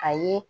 A ye